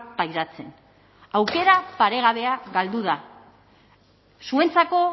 pairatzen aukera paregabea galdu da zuentzako